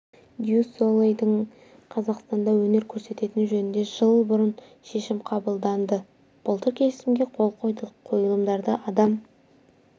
дю солейдің қазақстанда өнер көрсететіні жөнінде жыл бұрын шешім қабылданды былтыр келісімге қол қойдық қойылымдарда адам